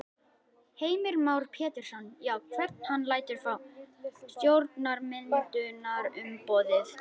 Heimir Már Pétursson: Já, hvern hann lætur frá stjórnarmyndunarumboðið?